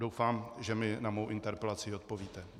Doufám, že mi na mou interpelaci odpovíte.